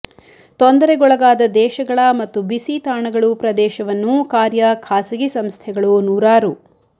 ತೊಂದರೆಗೊಳಗಾದ ದೇಶಗಳ ಮತ್ತು ಬಿಸಿ ತಾಣಗಳು ಪ್ರದೇಶವನ್ನು ಕಾರ್ಯ ಖಾಸಗಿ ಸಂಸ್ಥೆಗಳು ನೂರಾರು